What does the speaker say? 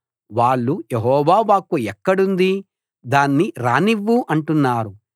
వాళ్ళు యెహోవా వాక్కు ఎక్కడుంది దాన్ని రానివ్వు అంటున్నారు